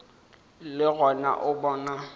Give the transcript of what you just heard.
le gona o a bona